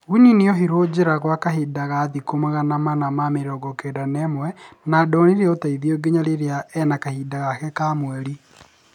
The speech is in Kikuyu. winnie ohirwo njera gwa kahinda ka thikũ magana mana ma mĩrongo kenda na ĩmwe na ndonire ũteithio nginya rĩrĩa ena kahinda gake ka mweri